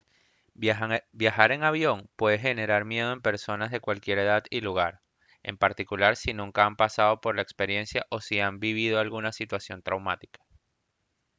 viajar en avión puede generar miedo en personas de cualquier edad y lugar en particular si nunca han pasado por la experiencia o si han vivido alguna situación traumática